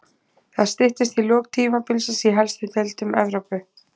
Það styttist í lok tímabilsins í helstu deildum Evrópu.